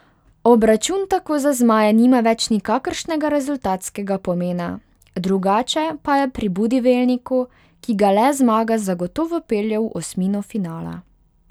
Obračun tako za zmaje nima več nikakršnega rezultatskega pomena, drugače pa je pri Budivelniku, ki ga le zmaga zagotovo pelje v osmino finala.